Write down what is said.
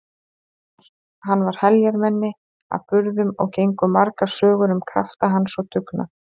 Hann var heljarmenni að burðum og gengu margar sögur um krafta hans og dugnað.